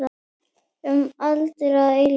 Um aldir og að eilífu.